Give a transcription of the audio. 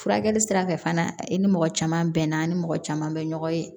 Furakɛli sira fɛ fana i ni mɔgɔ caman bɛnna ni mɔgɔ caman bɛ ɲɔgɔn ye